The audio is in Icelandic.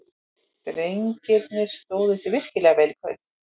Drengirnir stóðu sig virkilega vel í kvöld.